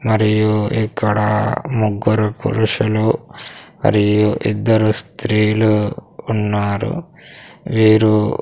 మరియు ఇక్కడ ముగ్గురు పురుషులు మరియు ఇద్దరు స్త్రీలు ఉన్నారు వీరు.